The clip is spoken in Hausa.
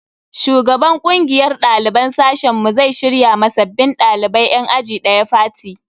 Shugaban kungiyar daliban sashen mu zai shirya ma sabbin dalibai yan aji daya fati.